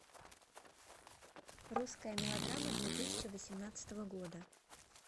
русская мелодрама две тысячи восемнадцатого года